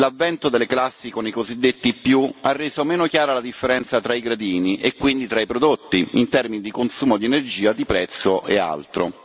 L'avvento delle classi con i cosiddetti ha reso meno chiara la differenza tra i gradini e quindi tra i prodotti, in termini di consumo di energia, di prezzo e altro.